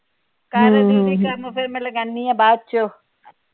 ਕਰ ਦੀਦੀ ਕੰਮ ਫਿਰ ਮੈ ਲਗਾਨੀ ਆ ਬਾਅਦ ਚ।